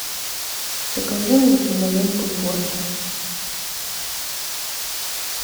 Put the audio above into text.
покажи мне киноленту порча